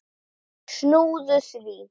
Snúðu við.